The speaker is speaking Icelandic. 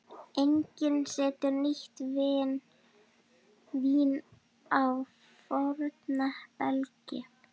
Enginn setur nýtt vín á forna belgi.